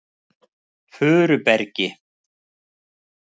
Furubergi